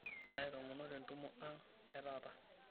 Aitoomono tentumo ang' etaata.